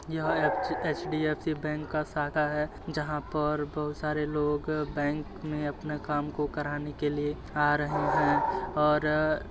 यह एक ची एचडीएफसी बैंक का शाखा है। जहाँ पर बहुत सारे लोग बैंक में अपना काम को कराने के लिए आ रहे हैं और --